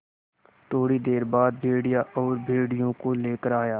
थोड़ी देर बाद भेड़िया और भेड़ियों को लेकर आया